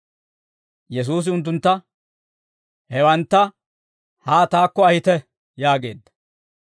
Yesuusi unttuntta, «Hewantta, haa taakko ahite» yaageedda.